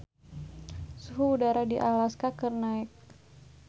Suhu udara di Alaska keur naek